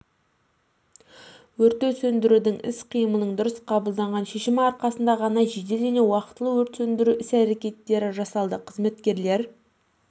өртті сөндірудін іс-қимылының дұрыс қабылданған шешімі арқасында ғана жедел және уақтылы өрт сөндіру іс-әрекеттері жасалды қызметкерлер